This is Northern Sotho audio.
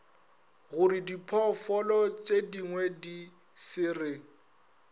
gorediphoofolo tšedingwe di se re